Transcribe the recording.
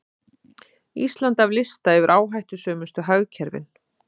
Ísland af lista yfir áhættusömustu hagkerfin